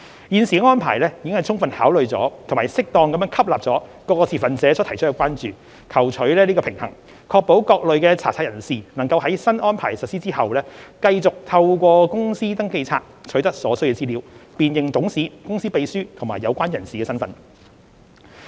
現時的安排已充分考慮及適當吸納各持份者所提出的關注，求取平衡，確保各類查冊人士能在新安排實施後，繼續透過公司登記冊取得所需資料，辨認董事、公司秘書及有關人士的身份。